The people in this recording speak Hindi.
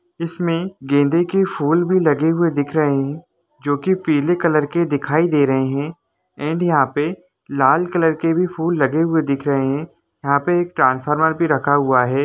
इसमें गंदे के फूल भी लगे हुए दिख रहे हैं जो की पीले कलर के दिखाई दे रहे हैं एण्ड यहां पर लाल कलर के भी फूल लगे हुए दिख रहे हैं यहां पर एक ट्रांसफार्मर भी रखा हुआ है।